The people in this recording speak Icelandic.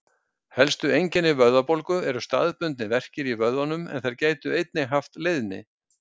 Helstu einkenni vöðvabólgu eru staðbundnir verkir í vöðvunum en þeir geta einnig haft leiðni.